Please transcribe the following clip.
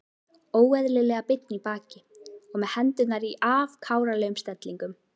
Óeðlilega beinn í baki og með hendurnar í afkáralegum stellingum.